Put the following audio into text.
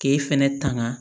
K'e fɛnɛ tanga